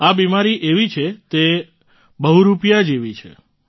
આ બીમારી એવી છે તે બહુરૂપિયા જેવી છે